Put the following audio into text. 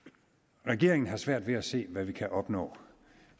regeringen har svært ved at se hvad vi kan opnå